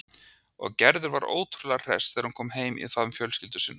Og Gerður var ótrúlega hress þegar hún kom heim í faðm fjölskyldu sinnar.